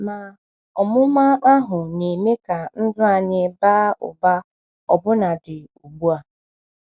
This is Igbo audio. Ma ọmụma ahụ na-eme ka ndụ anyị baa ụba ọbụnadị ugbu a.